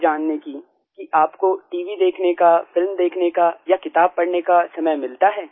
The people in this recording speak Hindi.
थी जानने की कि आपको टीवी देखने का फिल्म देखने का या किताब पढ़ने का समय मिलता है